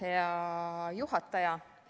Hea juhataja!